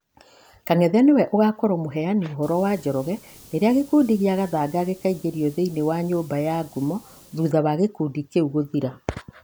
Kang'ethe nĩwe ũgakorwo mũheani ũhoro wa Njoroge rĩrĩa gĩkundi kĩa Gathanga gĩkaingĩrio thĩinĩ wa Nyũmba ya Ngumo thutha wa gĩkundi kĩu gũthira.